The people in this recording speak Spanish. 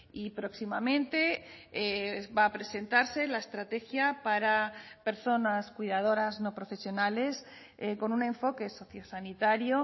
y próximamente va a presentarse la estrategia para personas cuidadoras no profesionales con un enfoque socio sanitario